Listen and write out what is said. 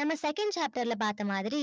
நம்ம second chapter ல பார்த்த மாதிரி